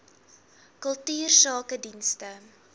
kultuursakedienste